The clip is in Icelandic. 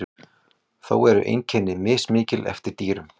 þó eru einkenni mismikil eftir dýrum